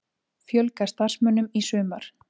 Fjölga starfsmönnum í sumar